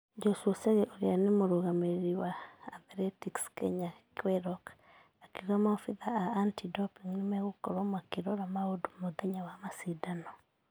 Joshua Chege ũria ni mũrugamĩrĩri wa athletics kenya kwe Loc akiuga maofitha a anti-doping ni magũkorwo makirora maũndu mũthenya wa mashidano.